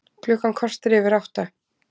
Klukkan korter yfir átta